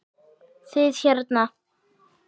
Þið hérna.